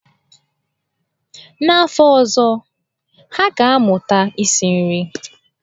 N'afọ ọzọ, ha ga-amụta isi nri.